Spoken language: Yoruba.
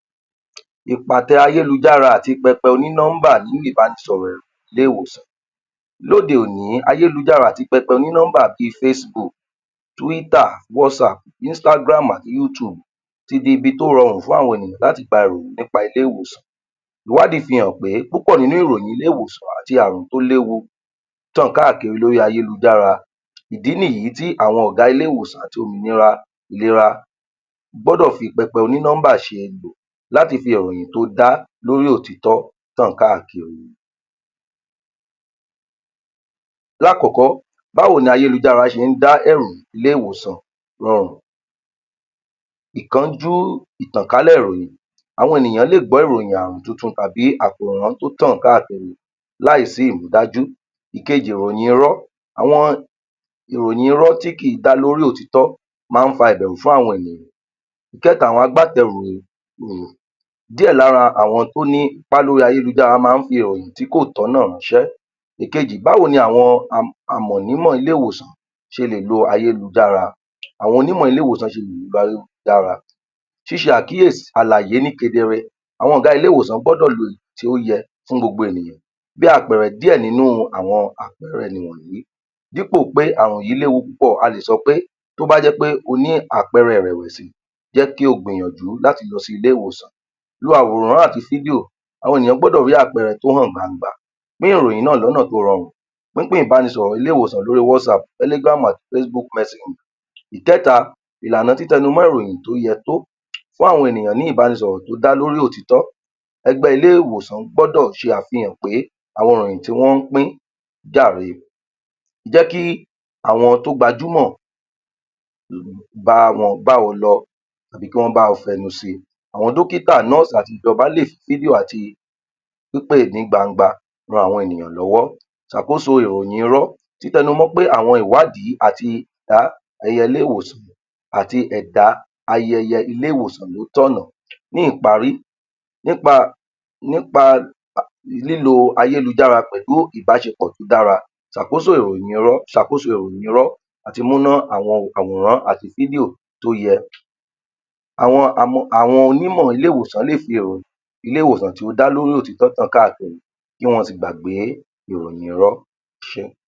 Ìpátẹ ayélujára àti pẹpẹ oní nọ́nḿbà nínú ìbánisọ̀rọ̀ ẹ̀rọ ilé ìwòsàn lóde òní ayélujára àti pẹpẹ oní nọ́ḿbà bíi fésíbuùkù túwítà, wásaàpù, isítágíráàmù àti yútuùbù ti di ibi tó rọrùn fún àwọn ènìyàn láti gba ìròyìn nípa ilé ìwòsàn ìwádìí fi hàn pé púpọ̀ nínú ìròyìn ilé-ìwòsàn àti ààrùn tó léwu tàn káàkiri lórí ayélujára ìdí nìyìí tí àwọn ọ̀gá ilé-ìwòsàn àti òmìnira ìlera gbọ́dọ̀ fi pẹpẹ oní nọ́ḿbà ṣe èlò láti fi ìròyìn tó dá lórí òtítọ́ tàn káàkiri lákọ̀ọ́kọ́ báwo ni ayélujára ṣe ń ẹ̀rù ilé-ìwòsàn rọrùn ìkánjú ìtànkálẹ̀ ìròyìn àwọn ènìyàn lè gbọ́ ìròyìn ààrùn túntún tàbí àkòrán tó tàn káàkiri láìsí ìrídájú. Ìkejì ìròyìn irọ́ àwọn ìròyìn irọ́ tí kìí dá lórí òtítọ́ máa ń fa ìbẹ̀rù fún àwọn ènìyàn. Ìkẹ́ta, àwọn agbátẹrù ìròyìn díẹ̀ lára àwọn tó ní ipá lórí ayélujára máa ń fi ìròyìn tí kò tọ̀nà ráńṣẹ́. Ìkejì, báwo ni awọn um àmọ̀nímọ̀ ilé-íwòsàn ṣe lè lo ayélujára àwọn onímọ̀ ilé-ìwòsàn ṣe lè lo ayélujára ṣíse àkíèsí àlàyé ní kedere àwọn ọ̀gá ilé-ìwòsàn gbọ́dọ̀ lo um tí ó yẹ fún gbogbo ènìyàn bí àpẹẹrẹ díẹ̀ nínú àwọn àpẹẹrẹ nìwọ̀nyí dípò pé ààrùn yìí léwu púpọ̀, a lè sọ pé tóbájẹ́ pé oní àpẹẹrẹ ìrẹ̀wẹ̀sí jẹ́ kí o gbìyànjú láti lọ sí ilé-ìwòsàn lo àwòrán àti fídíò àwọn ènìyàn gbọ́dọ̀ rí àpẹẹrẹ tó hàn gbangba pín ìròyìn náà lọ́nà tó rọrùn pínpín ìbánisọ̀rọ̀ ilé-ìwòsàn lórí wásaàbù, tẹ́lígíráàmù àti fesibuùkù mẹsenjà. Ìkẹ́ta, ìlànà títẹnumọ́ ìròyìn tó yẹ tó fún àwọn ènìyàn ní ìbánisọ̀rọ̀ tó dá lórí òtítọ́ ẹgbẹ́ ilé-ìwòsàn gbọdọ̀ ṣe àfihàn pé àwọn ìròyìn tí wọ́n ń pín jàre jẹ́ kí àwọn to gbajúmọ̀ um um bá wọn lọ tàbí kí wọ́n bá wọn fẹnu síi àwọn dọ́kítà, nọ́ọ̀sì àti ìjọba lè fídíò àti pípè ní gbangba ran àwọn ènìyàn lọ́wọ́ ṣàkóso ìròyìn irọ́ títẹnumọ́ pé àwọn ìwádìí àti ìbá ẹyẹlé ìwòsàn àti ẹ̀dá ayẹyẹ ilé-ìwòsàn ló tànnà Ní ìparí, um nípa lílo ayélujára pẹ̀lú ìbáṣepọ̀ tó dara tàb'óṣèròyìn irọ́, ṣ'àkós ìròyìn irọ́ àti múná um àwòrán àti fídíò tóyẹ [umum] àwọn onímọ̀ ilé-ìwòsàn fi èrò ilé-ìwòsàn tí ó dá lórí òtítọ́ tàn káàkiri kí wọ́n sì gbàgbé ìròyìn irọ́. Ẹ ṣé.